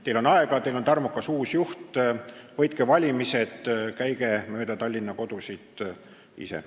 Teil on aega, teil on tarmukas uus juht, võitke valimised ja käige mööda Tallinna kodusid ise.